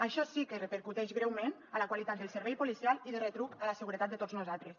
això sí que repercuteix greument en la qualitat del servei policial i de retruc en la seguretat de tots nosaltres